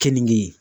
Keninge